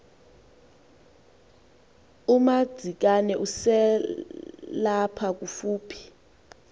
umadzikane eselapha kofuphi